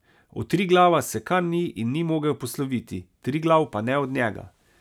Od Triglava se kar ni in ni mogel posloviti, Triglav pa ne od njega.